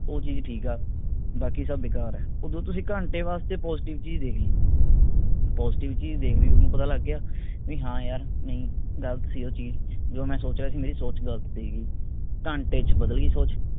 ਉਹ ਚੀਜ ਠੀਕ ਆ ਬਾਕੀ ਸਬ ਬੇਕਾਰ ਆ, ਓਦੋਂ ਤੁਸੀਂ ਘੰਟੇ ਵਾਸਤੇ positive ਚੀਜ ਦੇਖ ਲਈ। positive ਚੀਜ ਦੇਖਦੇ ਹੀ ਲਈ ਥੋਨੂੰ ਪਤਾ ਲੱਗ ਗਿਆ ਵੀ ਹਾਂ ਯਾਰ ਨਹੀਂ, ਗਲਤ ਸੀ ਉਹ ਚੀਜ ਜੋ ਮੈਂ ਸੋਚ ਰਿਹਾ ਸੀ ਮੇਰੀ ਸੋਚ ਗਲਤ ਸੀ ਗੀ। ਘੰਟੇ ਚ ਬਦਲ ਗਈ ਸੋਚ।